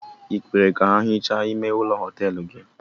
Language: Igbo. I kweere ka ha hichaa ime ụlọ họtelụ gị?